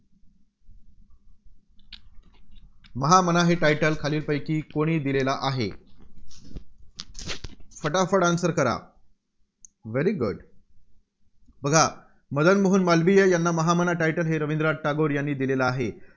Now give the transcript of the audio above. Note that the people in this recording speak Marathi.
महामना हे title खालील पैकी कोणी दिलेलं आहे. फटाफट answer करा. very good बघा, मदन मोहन मालवीय यांना महामना हे title रवींद्रनाथ टागोर यांनी दिलेलं आहे.